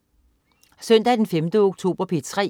Søndag den 5. oktober - P3: